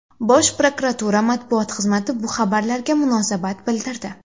Bosh prokuratura matbuot xizmati bu xabarlarga munosabat bildirdi.